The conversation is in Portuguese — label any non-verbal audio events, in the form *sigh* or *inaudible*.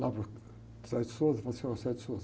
Lá para o, *unintelligible* falo assim, ó, *unintelligible*